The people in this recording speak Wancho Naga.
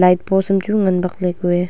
light post hamchu ngan bakley kuye.